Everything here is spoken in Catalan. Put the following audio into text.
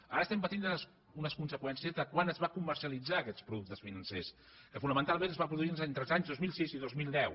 ara patim unes conseqüències de quan es van comercialitzar aquests productes financers que fonamentalment es va produir entre els anys dos mil sis i dos mil deu